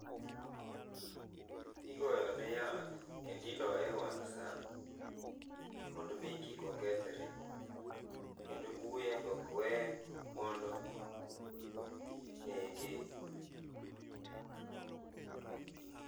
Igoyone yath kendo idoye e wang saa mondo mi kik okethre kendo buya be ok wee mondo nege